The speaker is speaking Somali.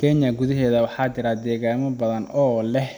Kenya gudaheeda, waxaa jira deegaano badan oo leh